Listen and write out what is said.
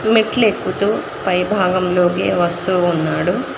మెట్లెక్కుతు పై భాగంలోకి వస్తూ ఉన్నాడు.